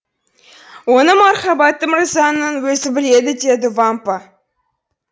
оны мархабатты мырзаның өзі біледі деді вампа